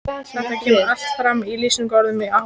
Þetta kemur allt fram í lýsingu orðsins áhugi: